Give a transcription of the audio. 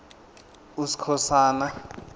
uskhosana